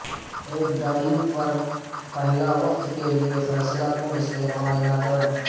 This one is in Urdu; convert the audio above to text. ایک ڈائیو پر پہلا وقت کے لئے فیصلہ کن استعمال نہ کریں